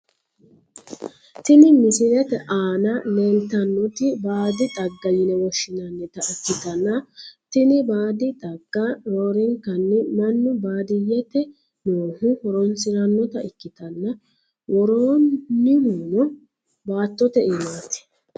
Tini misilete aana leeltannoti baadi xagga yine woshshinannita ikkitanna, tini baadi xagga roorenkanni mannu baadiyyete noohu horonsi'rannota ikkitanna, worroonnihuno baattote iimaati.